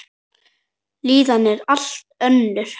Líðanin er allt önnur.